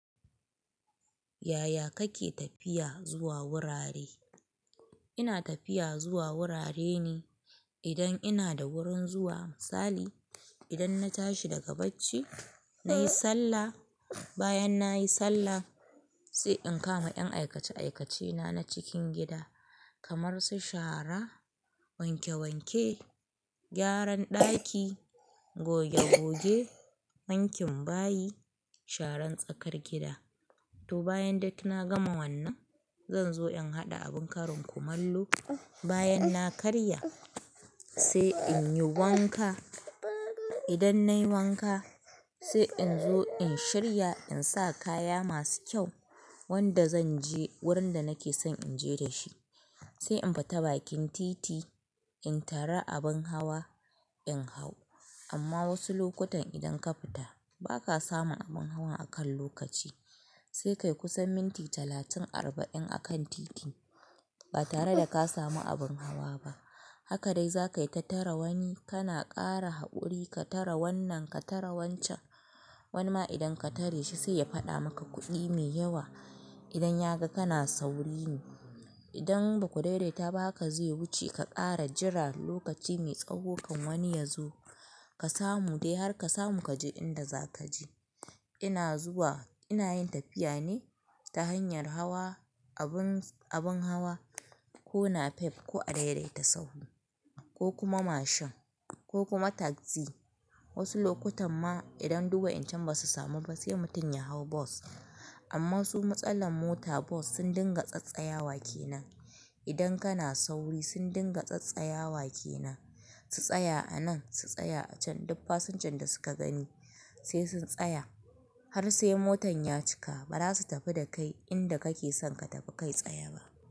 Yaya kake tafiya zuwa wurare? Ina tafiya zuwa wurare ne idan ina da wurin zuwa. Misali, idan na tashi daga bacci, na yi sallah. Bayan na yi sallah sai in kama 'yan aikace-aikacena na cikin gida kamar su shara, wanke-wanke, gyaran ɗaki, goge-goge, wankin bayi, sharan tsakar gida. To bayan duk na gama wannan, zan zo in haɗa abin karin kumallo. Bayan na karya sai in yi wanka. Idan na yi wanka sai in zo in shirya in sa kaya masu kyau wanda zan je wurin da nake son in je da shi. Sai in fita bakin titi in tara abin hawa in hau. Amma wasu lokutan idan ka fita ba ka samun abin hawa a kan lokaci sai kai kusan minti talatin arba'in a kan titi ba tare da ka samu abin hawa ba. Haka dai za ka yi ka tara wani. Kana ƙara haƙuri ka tara wannan, ka tara wancan. Wani ma idan ka tare shi sai ya faɗa maka kuɗi mai yawa idan ya ga kana sauri ne. Idan ba ku daidaita ba haka zai wuce ka ƙara jira lokaci mai tsawo kan wani ya zo ka samu dai har ka samu ka je inda za ka je. Ina zuwa, ina yin tafiya ne ta hanyar hawa abin, abin hawa ko napep ko a daidaita sahu ko kuma mashin ko kuma taxi. Wasu lokutan ma idan duk wa incan ba su samu ba sai mutum ya hau bus. Amma su matsalar mota bus sun dinga tsattsayawa kenan. Idan kana sauri sun dinga tsattsaya wake nan. Su tsaya a nan, su tsaya a can. Duk fasinjan da suka gani sai sun tsaya har sai motan ya cika ba za su tafi da kai inda kake son ka tafi kai tsaye ba.